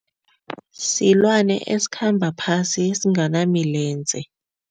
Silwana esikhamba phasi esinganamilenze.